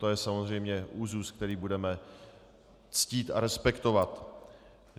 To je samozřejmě úzus, který budeme ctít a respektovat.